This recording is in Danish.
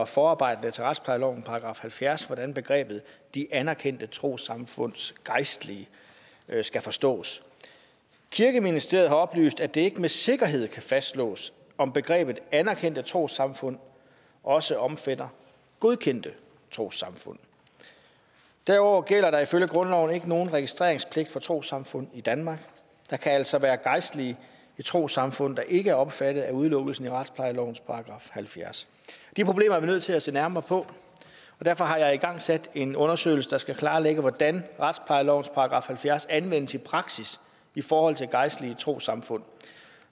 forarbejderne til retsplejeloven § halvfjerds hvordan begrebet de anerkendte trossamfunds gejstlige skal forstås kirkeministeriet har oplyst at det ikke med sikkerhed kan fastslås om begrebet anerkendte trossamfund også omfatter godkendte trossamfund derudover gælder der ifølge grundloven ikke nogen registreringspligt for trossamfund i danmark der kan altså være gejstlige i trossamfund der ikke er omfattet af udelukkelsen i retsplejelovens § halvfjerds de problemer er vi nødt til at se nærmere på og derfor har jeg igangsat en undersøgelse der skal klarlægge hvordan retsplejelovens § halvfjerds anvendes i praksis i forhold til gejstlige i trossamfund